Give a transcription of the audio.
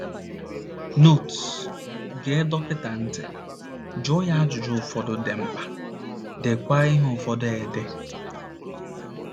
notes Gee dọkịta ntị, jụọ ya ajụjụ ụfọdụ dị mkpa, deekwa ihe ụfọdụ ede